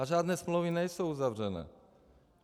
A žádné smlouvy nejsou uzavřeny.